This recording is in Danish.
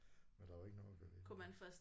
Og der var ikke noget at gøre ved det